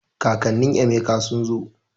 Kakannin Emeka sun zo